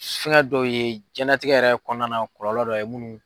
Fɛnkɛ dɔw ye jiyɛnlatigɛ yɛrɛ kɔnɔna na kɔlɔlɔ dɔ ye munnu